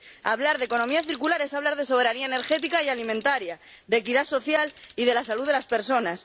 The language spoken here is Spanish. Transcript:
Hablar de economía circular es hablar de soberanía energética y alimentaria, de equidad social y de la salud de las personas